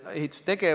Aitäh, hea esimees!